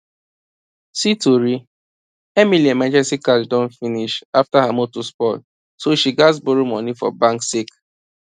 see tori emily emergency cash don finish after her motor spoil so she gats borrow money for bank sake